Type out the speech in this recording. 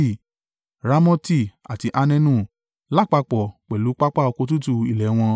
Ramoti àti Anenu, lápapọ̀ pẹ̀lú pápá oko tútù ilẹ̀ wọn.